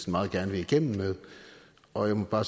meget gerne vil igennem med og jeg må bare